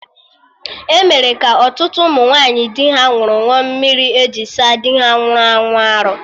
Emere ka ọtụtụ ụmụ nwaanyị di ha nwụrụ ṅụọ mmiri eji saa dị ha nwụrụ anwụ arụ